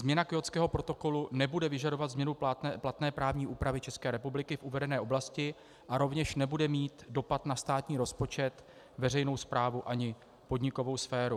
Změna Kjótského protokolu nebude vyžadovat změnu platné právní úpravy České republiky v uvedené oblasti a rovněž nebude mít dopad na státní rozpočet, veřejnou správu ani podnikovou sféru.